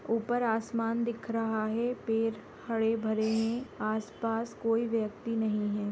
ऊपर आसमान दिख रहा है पेड़ हरे भरे है आस पास कोई व्यक्ति नहीं है।